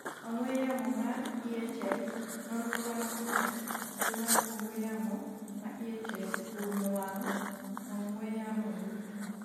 ong'we yamo ma iye tek, nonro mar picha, kio mar ong'we yamo ma iye tek oumo wang' ong'we yamo duto